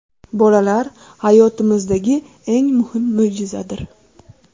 Bolalar – hayotimizdagi eng muhim mo‘jizadir.